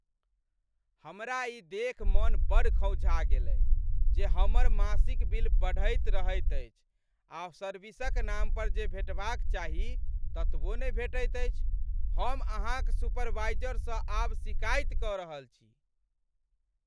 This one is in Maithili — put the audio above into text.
हमरा ई देखि मन बड़ खौंझा गेलय जे हमर मासिक बिल बढ़ैत रहैत अछि, आ सर्विसक नाम पर जे भेटबाक चाही ततबो नहि भेटैत अछि। हम अहाँक सुपरवाइजरसँ आब सिकायति कऽ रहल छी।